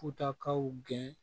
Butakaw gɛn